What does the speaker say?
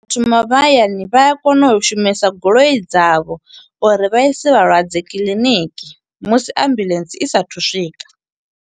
Thoma vha hayani vha a kona u shumisa goloi dza vho, uri vha ise vhalwadze kiḽiniki. Musi ambuḽentse i sa athu u swika.